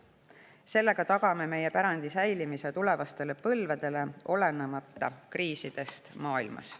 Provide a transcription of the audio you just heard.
Sellega tagame meie pärandi säilimise tulevastele põlvedele, olenemata kriisidest maailmas.